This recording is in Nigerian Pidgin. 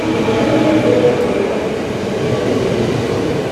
dia oda areas of attack na major highways